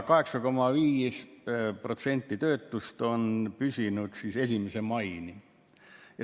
8,5%‑line töötus on püsinud 1. maini.